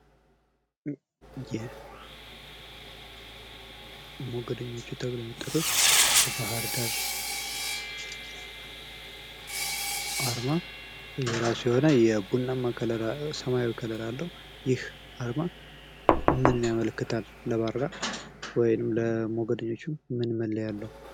ይህ ሞገደኞቹ ተብለው የሚጠሩት የባህር ዳር አርማ የራሱ የሆነ ሰማያዊ ከለር አለው። ይህ አርማ ምንን ያመለክታል? ለባህር ዳር ወይም ለሞገደኞቹ ምን ምልክት አለው?